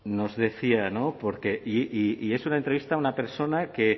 nos decía y es una entrevista a una persona que